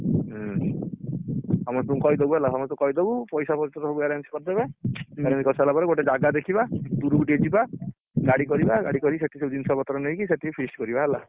ହୁଁ ସମସ୍ତଙ୍କୁ କହିଦେବୁ ହେଲା ସମସ୍ତଙ୍କୁ କହିଦବୁ ପଇସା ପତର ସବୁ arrange କରିଦେବେ arrange କରିସାରିଲାପରେ ଗୋଟେ ଜାଗା ଦେଖିଆ ଦୁରୁକୁ ଟିକେ ଯିବା ଗାଡିକରିବା ସେଠି ସବୁ ଜିନିଷ ପତର ନେଇକି ସେଠି feast କରିବା ହେଲା